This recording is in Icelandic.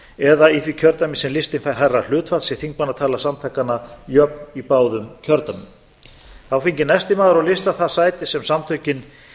eða í því kjördæmi sem listinn fær hærra hlutfall sé þingmannatala samtakanna jöfn í báðum kjördæmum þá fengi næsti maður á lista það sæti sem samtökin